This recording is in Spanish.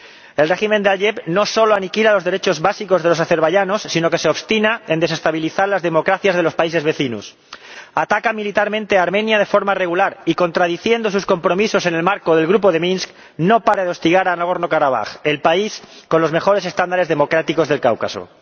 El régimen de Aliyev no solo aniquila los derechos básicos de los azerbaiyanos, sino que se obstina en desestabilizar las democracias de los países vecinos ataca militarmente Armenia de forma regular y, contradiciendo sus compromisos en el marco del Grupo de Minsk, no para de hostigar a Nagorno Karabaj, el país con los mejores estándares democráticos del Cáucaso.